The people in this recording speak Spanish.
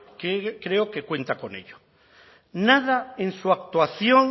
que creo que cuenta con ello nada en su actuación